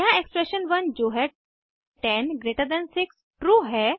यहाँ एक्सप्रेशन 1 जो है 10 जीटी 6 ट्रू है